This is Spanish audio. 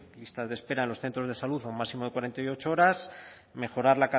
listas de espera en los centros de salud a un máximo de cuarenta y ocho horas mejorar